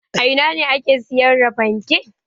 A ina ne ake sayar da fanke?